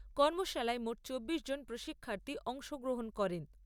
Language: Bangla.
কর্মশালায় মোট চব্বিশ জন প্রশিক্ষার্থী অংশগ্রহণ করেন।